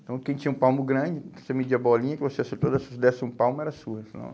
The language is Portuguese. Então, quem tinha um palmo grande, você media a bolinha, que você acertou, se você desse um palmo, era sua, afinal.